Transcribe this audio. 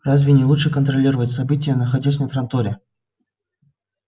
разве не лучше контролировать события находясь на транторе